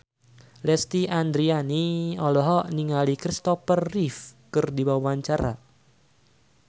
Lesti Andryani olohok ningali Kristopher Reeve keur diwawancara